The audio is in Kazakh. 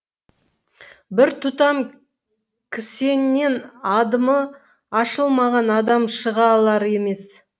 бір тұтам кісеннен адымы ашылмаған адам шыға алар емес